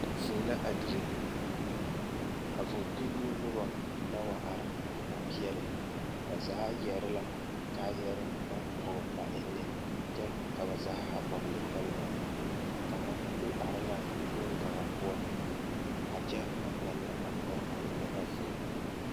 Vūū la a dire a vūū kpinoo nobɔ la wa are a are peɛle ba zaa yɛre la kaayɛre naŋ pɔge ba enne ka ba zaa a vɔgle hɛlmɛt kaŋa do are la bonkaŋa poɔ a kyɛ a ngmɛnnɛ a kõɔ kpinne a vūū.